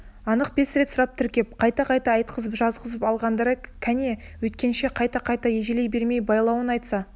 анық бес рет сұрап тіркеп қайта-қайта айтқызып жазғызып алғандары кәне өйткенше қайта-қайта ежелей бермей байлауын айтса